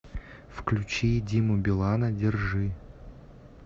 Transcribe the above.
включи диму билана держи